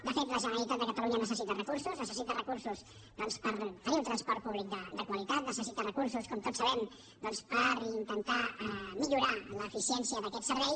de fet la generalitat de catalunya necessita recursos necessita recursos per tenir un transport públic de qualitat necessita recursos com tots sabem doncs per intentar millorar l’eficiència d’aquest servei